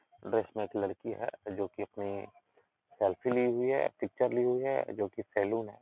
Dress में एक लड़की है जो कि आपनी सेल्फी ली हुई हैपिचर ली हुई है जो कि सैलून है।